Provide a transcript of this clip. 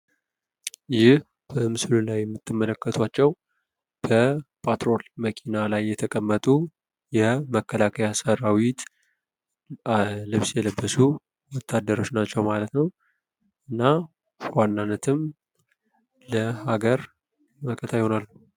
ይህ ምስሉ ላይ የምትመለከቷቸው በፓትሮል መኪና ላይ የተቀመጡ የመከላከይ ሰራዊት ልብስ የለበሱ ወታደሮች ናቸው። ማለት ነው። እና በዋናነትም ለሀገር መከታ ይሆናሉ።